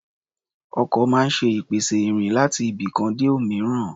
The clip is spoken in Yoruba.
Ọkọ̀ máa ń ṣe ìpèsè ìrìn láti ibikan dé òmíràn.